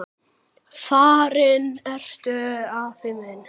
Farinn ertu, afi minn.